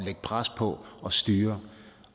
lægge pres på og styre